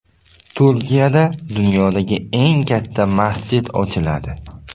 Turkiyada dunyodagi eng katta masjid ochiladi.